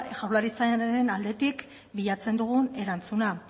jaurlaritzaren aldetik bilatzen dugun erantzuna